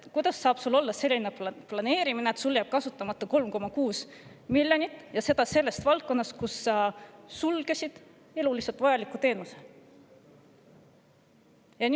Kuidas saab selliselt planeerida, et sul jääb kasutamata 3,6 miljonit ja seda valdkonnas, kus sa sulgesid eluliselt vajaliku teenuse?